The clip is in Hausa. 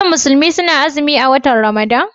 Shin musulmi suna azumin a watan Ramadan?